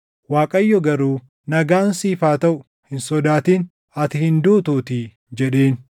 Waaqayyo garuu, “Nagaan siif haa taʼu! Hin sodaatin, ati hin duutuutii” jedheen.